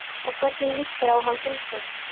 Og hvernig líst þér á hann Gunnsteinn?